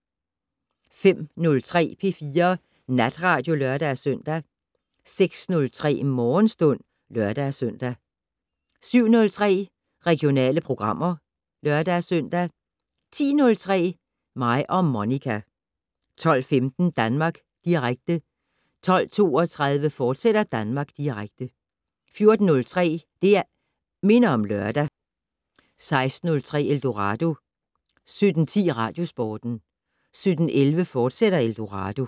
05:03: P4 Natradio (lør-søn) 06:03: Morgenstund (lør-søn) 07:03: Regionale programmer (lør-søn) 10:03: Mig og Monica 12:15: Danmark Direkte 12:32: Danmark Direkte, fortsat 14:03: Det' Minder om Lørdag 16:03: Eldorado 17:10: Radiosporten 17:11: Eldorado, fortsat